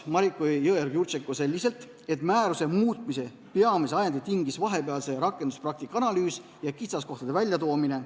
Mariko Jõeorg-Jurtšenko vastas, et määruse muutmise peamise ajendi tingis vahepealse rakenduspraktika analüüs ja kitsaskohtade esiletoomine.